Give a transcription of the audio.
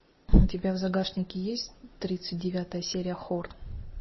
у тебя в загашнике есть тридцать девятая серия хор